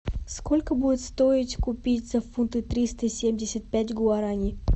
сколько будет стоить купить за фунты триста семьдесят пять гуарани